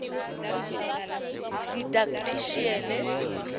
didactician